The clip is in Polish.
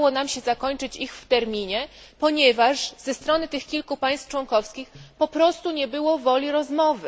Nie udało nam się zakończyć ich w terminie, ponieważ ze strony tych kilku państw członkowskich po prostu nie było woli rozmowy.